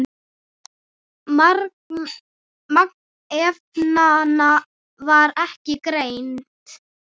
Magn efnanna var ekki greint.